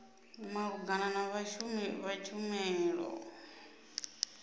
malugana na vhashumi vha tshumelo